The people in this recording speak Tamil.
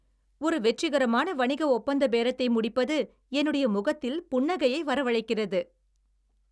ஒரு வெற்றிகரமான வணிக ஒப்பந்த பேரத்தை முடிப்பது என்னுடைய முகத்தில் புன்னகையை வரவழைக்கிறது.